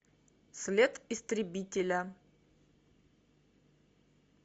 след истребителя